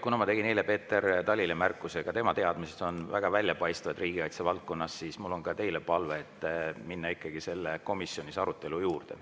Kuna ma tegin eile Peeter Talile märkuse – ka tema teadmised on väga väljapaistvad riigikaitse valdkonnas –, siis mul on ka teile palve minna ikkagi komisjoni arutelu juurde.